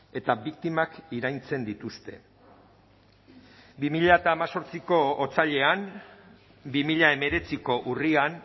eta biktimak iraintzen dituzte bi mila hemezortziko otsailean bi mila hemeretziko urrian